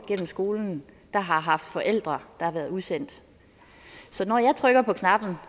skolen der har haft forældre der har været udsendt så når jeg trykker på knappen